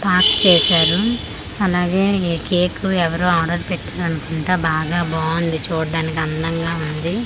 Park చేసారు అలాగే ఈ కేకు ఎవరో ఆర్డర్ పెట్టారనుకుంటా బాగా బాగుంది చూడ్డానికి అందంగా ఉంది.